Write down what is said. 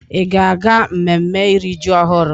Ị ga-aga mmemme iri ji ọhụrụ?